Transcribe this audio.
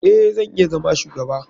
Eh, zan iya zama shugaba.